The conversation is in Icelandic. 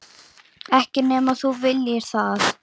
Ekki nema þú viljir það.